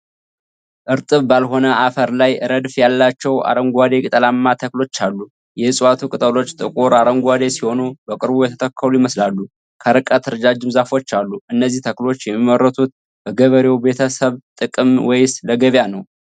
እርጥብ ባልሆነ አፈር ላይ ረድፍ ያላቸው አረንጓዴ ቅጠላማ ተክሎች አሉ። የእፅዋቱ ቅጠሎች ጥቁር አረንጓዴ ሲሆኑ በቅርቡ የተተከሉ ይመስላሉ። ከርቀት ረጃጅም ዛፎች አሉ። እነዚህ ተክሎች የሚመረቱት በገበሬው ቤተሰብ ጥቅም ወይስ ለገበያ ነው?